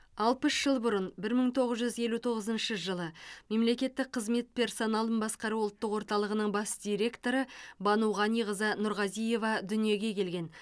алпыс жыл бұрын бір мың тоғыз жүз елу тоғызыншы жылы мемлекеттік қызмет персоналын басқару ұлттық орталығының бас директоры бану ғаниқызы нұрғазиева дүниеге келген